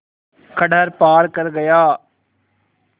खंडहर पार कर गया